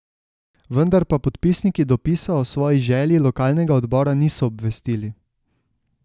Vendar pa podpisniki dopisa o svoji želji lokalnega odbora niso obvestili.